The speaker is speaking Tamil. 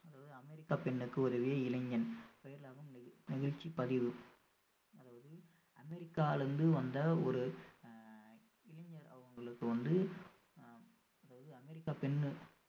அதாவது அமெரிக்கா பெண்ணுக்கு உதவிய இளைஞன் நிகழ்ச்சி பதிவு அதாவது அமெரிக்கால இருந்து வந்த ஒரு அஹ் இளைஞர் அவங்களுக்கு வந்து அஹ் அதாவது அமெரிக்கா பெண்ணு